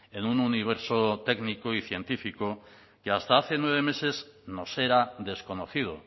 en un universo técnico y científico que hasta hace nueve meses nos era desconocido